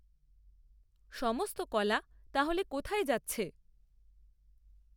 সমস্ত কলা তাহলে কোথায় যাচ্ছে?